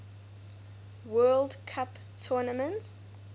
world cup tournament